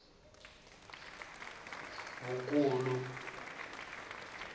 vukulu